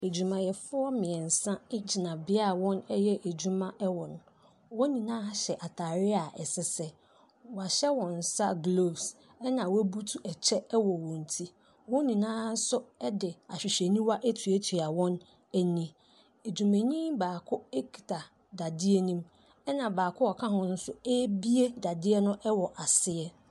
Adwumayɛfoɔ mmiɛnsa gyina bea a wɔyɛ wɔn adwuma wɔ, wɔn nyinaa hyɛ ataade a ɛsesɛ, wɔahyɛ wɔn nsa gloves, na wɔabutu kyɛ wɔ wɔn ti, wɔn nyinaa nso de ahwehwɛniwa atuatua wɔn ani. Adwumayɛni baako kita dadeɛ ne mu na baako a ɔka ho nso ɛrebue dadeɛ no wɔ aseɛ.